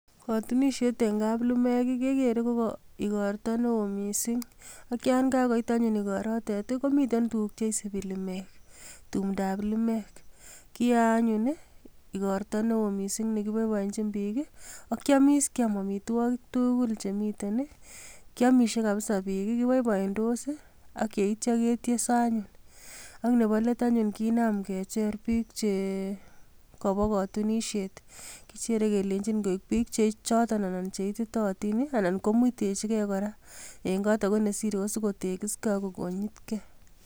Kotunisiet en kaplimek kegere KO igortoo neo missing, akyon kakoit anyone igorotet komiten tuguuk cheisibii limek. Tumdab limek, kiyoe anyun igortoo newoo missing nekiboiboenyiin biik, ak kiomis kiam amitwogiik tugul chemiiten. Kiyoomisie kabisa bik, kiboiboendos ak yeityoo ketoesoo anyun. Ak Nebo let anyun kinaam kecher biik chekoboo kotunisiet kichere keleinyin koik biik chechoton anan cheititootin, anan komuitechi gee kora en kot ako nesire ko sikotekisgei ako konyitgei